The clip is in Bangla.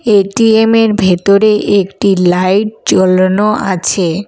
এ_টি_এম এর ভেতরে একটি লাইট জ্বলানো আছে।